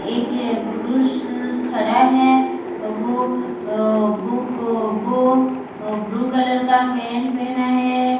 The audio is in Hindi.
एक पुरुष खड़ा है वो वो वो ब्लू कलर का पैंट पहना है।